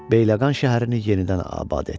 Bəyləqan şəhərini yenidən abad etdi.